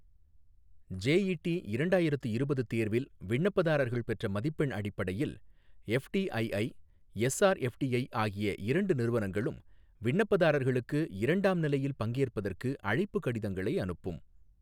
JET இரண்டாயிரத்து இருபது தேர்வில் விண்ணப்பதாரர்கள் பெற்ற மதிப்பெண் அடிப்படையில் எஃப்டிஐஐ, எஸ்ஆர்எஃப்டிஐ ஆகிய இரண்டு நிறுவனங்களும் விண்ணப்பதாரர்களுக்கு இரண்டாம் நிலையில் பங்கேற்பதற்கு அழைப்புக் கடிதங்களை அனுப்பும்.